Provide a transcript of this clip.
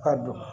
Ka don